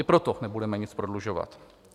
I proto nebudeme nic prodlužovat.